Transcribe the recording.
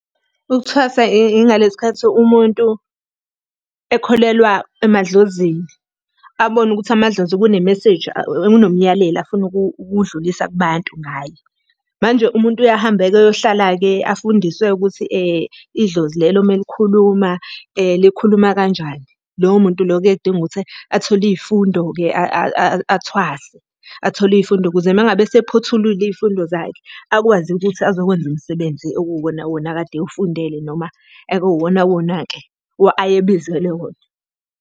Ukuthwasa ingalesi sikhathi umuntu ekholelwa emadlozini, abone ukuthi amadlozi kune-meseji kunomyalelo afuna ukuwudlulisa kubantu ngaye. Manje umuntu uye ahambeke-ke, ayohlala-ke afundiswe-ke ukuthi idlozi lelo uma likhuluma likhuluma kanjani. Lowo muntu lowo kuyeke kudinge ukuthi athole iy'fundo-ke athwase. Athole iy'fundo ukuze uma ngabe esephothulile iy'fundo zakhe akwazi ukuthi azokwenza umsebenzi okuwuwona wona akade ewufundele noma ekuwona wona-ke ayebizelwe wona.